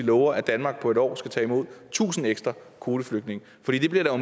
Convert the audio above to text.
lover at danmark på et år skal tage imod tusind ekstra kvoteflygtninge for det bliver der